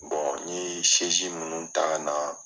n ye minnu ta ka na.